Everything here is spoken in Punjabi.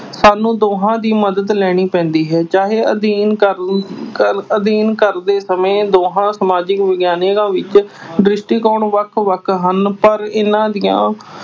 ਸਾਨੂੰ ਦੋਹਾਂ ਦੀ ਮਦਦ ਲੈਣੀ ਪੈਂਦੀ ਹੈ। ਚਾਹੇ ਅਧਿਐਨ ਕਰ ਅਹ ਅਧਿਐਨ ਕਰਦੇ ਸਮੇਂ ਦੋਹਾਂ ਸਮਾਜਿਕ ਵਿਗਿਆਨਾਂ ਵਿੱਚ ਦ੍ਰਿਸ਼ਟੀਕੋਣ ਵੱਖ ਵੱਖ ਹਨ। ਪਰ ਇਨ੍ਹਾਂ ਦੀਆਂ